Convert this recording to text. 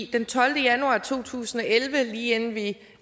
den tolvte januar to tusind og elleve lige inden vi